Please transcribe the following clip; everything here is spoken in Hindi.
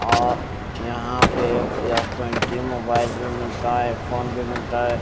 अ यहां पे एस ट्वेंटी मोबाइल भी मिलता है फोन भी मिलता है।